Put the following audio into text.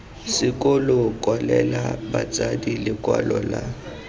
sekolo kwalela batsadi lekwalo la